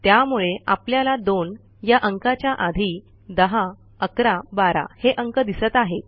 त्यामुळे आपल्याला 2 या अंकाच्या आधी 10 11 12 हे अंक दिसत आहेत